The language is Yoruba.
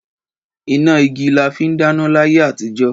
Ìnágí làfí dàná làyé àtíjọ̀.